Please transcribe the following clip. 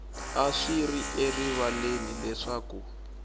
a swi ri erivaleni leswaku